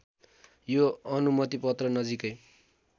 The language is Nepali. यो अनुमतिपत्र नजिकै